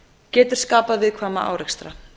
getur skapað viðkvæma árekstra